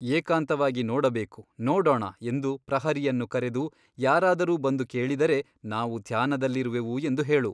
ಏಕಾಂತವಾಗಿ ನೋಡಬೇಕು ನೋಡೋಣ ಎಂದು ಪ್ರಹರಿಯನ್ನು ಕರೆದು ಯಾರಾದರೂ ಬಂದು ಕೇಳಿದರೆ ನಾವು ಧ್ಯಾನದಲ್ಲಿರುವೆವು ಎಂದು ಹೇಳು.